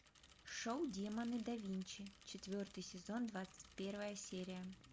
шоу демоны да винчи четвертый сезон двадцать первая серия